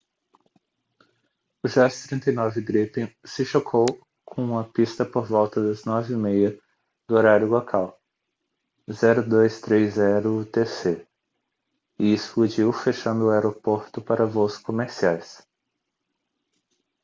o jas 39 gripen se chocou com a pista por volta de 9:30 do horário local 0230 utc e explodiu fechando o aeroporto para voos comerciais